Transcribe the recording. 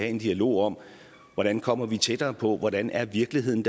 en dialog om hvordan kommer vi tættere på hvordan er virkeligheden